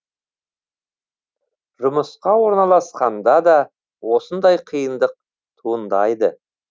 жұмысқа орналасқанда да осындай қиындық туындайды